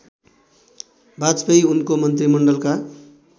वाजपेयी उनको मन्त्रिमण्डलका